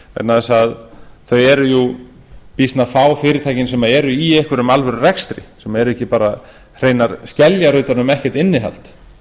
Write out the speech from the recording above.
þess að þau eru býsna fá fyrirtækin sem eru í einhverjum alvörurekstri sem eru ekki bara hreinar skeljar utan um ekkert innihald